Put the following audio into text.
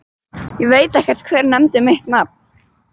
Ég veit ekkert, hver nefndi mitt nafn?